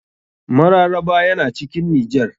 Mararaba yana cikin nijar.